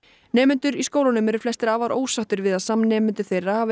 nemendur í skólunum eru flestir afar ósáttir við að samnemendur þeirra hafi